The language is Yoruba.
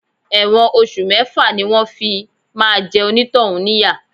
Ẹ̀wọ̀n oṣù mẹ́fà ni wọn fi máa jẹ onitohun níyà.